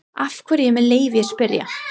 Af hverju, með leyfi að spyrja?